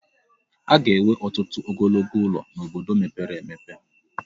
A ga-enwe ọtụtụ ogologo ụlọ n'obodo mepere emepe.